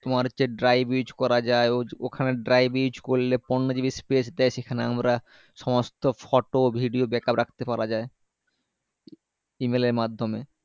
তোমার হচ্ছে drive use করা যায় ও ওখানে drive use করলে পনেরো GB space দেয় সেখানে আমরা সমস্ত photo video backup রাখতে পারা যায় email এর মাধ্যমে